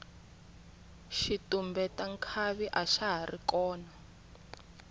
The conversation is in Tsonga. xitumbeta nkhavi axa hari kona